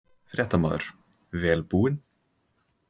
Fréttamaður: Vel búin?